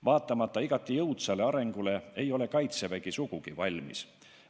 Vaatamata igati jõudsale arengule ei ole Kaitsevägi sugugi valmis.